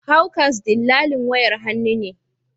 Hawkers dillalin wayar hannu ne